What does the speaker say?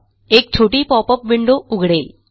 एक छोटी popup window उघडेल